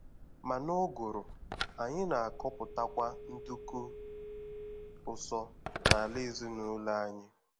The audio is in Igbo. Ma n'ụ́gụ̀rụ̀, anyị na-akọpụtakwa nduku ụsọ n'ala ezinụlọ anyị.